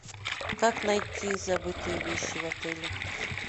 как найти забытые вещи в отеле